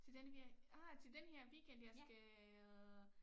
Til denne ah til denne her weekend jeg skal